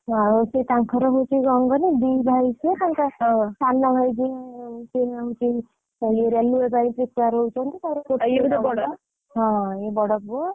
ଆଉ ସିଏ ତାଙ୍କର ହଉଛି କଣ କହନି ଦି ଭାଇ ସିଏ ସନ ଭାଇ ଯିଏ ସିଏ ହଉଛି railway ପାଇଁ prepare ହଉଛନ୍ତି ହଁ ଇଏ ବଡ ପୁଅ।